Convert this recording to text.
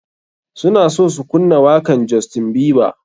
Suna so su kunna wakan justien bieber.